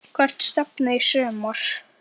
Hvert stefnið þið í sumar?